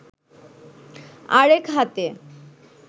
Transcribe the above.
আরেক হাতে